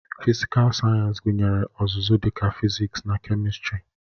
Fịsịkal Sayensị gụnyere ọzụzụ dịka fịzịksi na kemistri